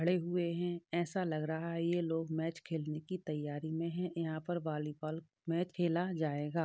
खड़े हुए हैं ऐसा लग रहा है ये लोग मैच खेलने की तैयारी में हैं यहाँ पर वॉलीबॉल मैच खेला जाएगा।